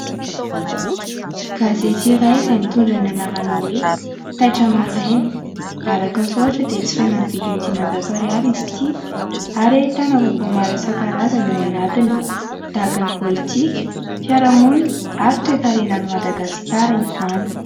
Gazety iray izay mitondra ny anarana hoe Taitra Maraina. Araky ny soratra dia jifaina amin'ny vidiny diman-jato ariary izy ity ary ahitana vaovao maro isankarazany ao anatiny : tahaka ny politika, fiaraha-monina ary toekarenan'i Madagasikara izany.